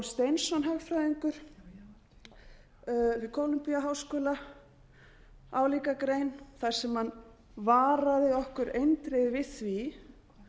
steinsson hagfræðingur við columbíaháskóla álíka grein þar sem hann varaði okkur eindregið við því